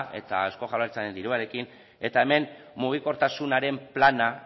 eta eusko jaurlaritzaren diruarekin eta hemen mugikortasunaren plana